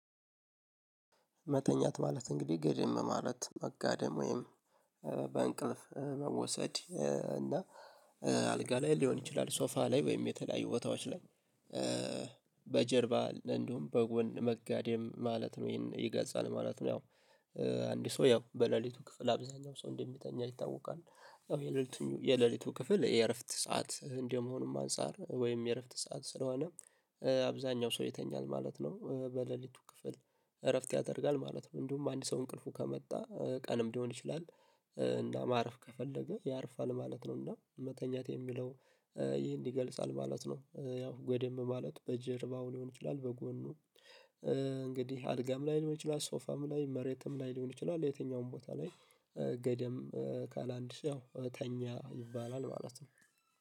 መተኛት ማለት እንግዲህ ገደም ማለት መጋደም ወይም በእንቅልፍ መወሰድ እና አልጋ ላይ ሊሆን ይችላል ሶፋ ላይ ወይም የተለያዩ ቦታዎች ላይ በጀርባ እንደውም በጎን መጋደም ማለት ነው። ይሄን ይገልጻል ማለት ነው። ያው አንድ ሰው ያው በሌሊቱ ክፍል አብዛኛው ሰው እንደሚተኛ ይታወቃል የሌሊቱ የሌሊቱ ክፍል የእረፍት ሰዓት እንደመሆኑም አንፃር ወይም የእረፍት ሰዓት ስለሆነ አብዛኛው ሰው ይተኛል ማለት ነው። በሌሊቱ ክፍል እረፍት ያደርጋል ማለት ነው። እንዲሁም አንድ ሰው እንቅልፉ ከመጣ ቀንም ሊሆን ይችላል እና ማረፍ ከፈለገ ያርፋል ማለት ነው። እና መተኛት የሚለው ይህን ይገልጻል ማለት ነው። ያው ገደም ማለት በጀርባው ሊሆን ይችላል በጎኑ እንግዲህ አልጋም ላይ ሊሆን ይችላል ሶፋም ላይ መሬትም ላይ ሊሆን ይችላል የትኛውም ቦታ ላይ ገደም ካለ አንድ ሰው ያው ተኛ ይባላል። ማለት ነው።